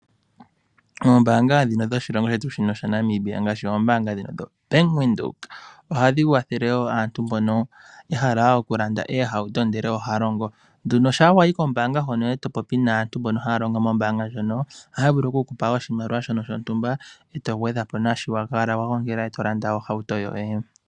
Ombaanga ndhino dho shilongo shetu sha Namibia ngaashi ombaanga yetu yo Bank Windhoek, oha dhi wathele wo aantu mbono, ya hala oku landa oohauto ndele oha ya longo, no sha wa yi kombaanga hono eto popi nasntu mbono ha ya longo mombaanga ndjono, oha ya vulu oku kupa oshimaliwa shomwaalu gwontumba, eto gwedhapo nashoka wa jala wa gongelapo, eto landa ohauto yoye.